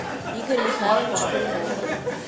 игорь михайлович турунов